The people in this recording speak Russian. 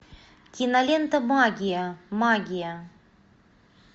кинолента магия магия